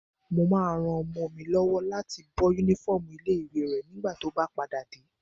Mo máa ran ọmọ mi lọ́wọ́ láti bọ́ yúnífọ́ọ̀mù ilé-ìwé rẹ̀ nígbà tó bá padà dé